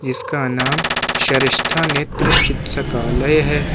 इसका नाम श्रेष्ठा नेत्र चिक्स्कालय है।